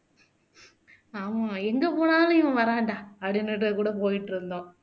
ஆமா எங்க போனாலும் இவன் வர்றான்டா அப்படின்னுட்டு கூட போயிட்டு இருந்தோம்